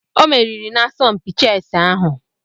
O meriri n'asọmpi chẹsi ahụ.